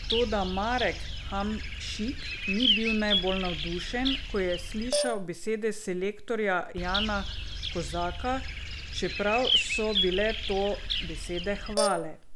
Toda Marek Hamšik ni bil najbolj navdušen, ko je slišal besede selektorja Jana Kozaka, čeprav so bile to besede hvale.